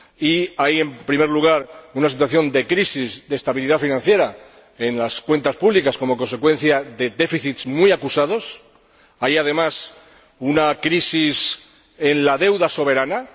Y hay, en primer lugar, una situación de crisis de estabilidad financiera en las cuentas públicas como consecuencia de déficits muy acusados. Hay, además, una crisis en la deuda soberana.